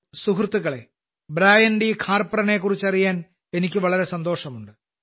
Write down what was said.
സുഹൃത്തുക്കളേ ബ്രയാൻഡി ഖാർപ്രനെക്കുറിച്ച് പറയാൻ എനിക്ക് വളരെ സന്തോഷമുണ്ട്